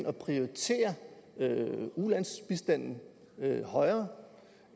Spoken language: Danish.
at prioritere ulandsbistanden højere